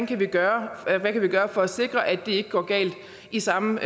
kan gøre for at sikre at det ikke går galt i samme